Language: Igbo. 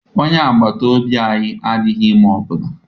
Onye agbata obi anyị adịghị ime ọbụla.